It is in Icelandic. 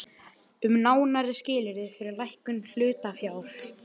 Ég finn bara að ég er í öðruvísi loftslagi.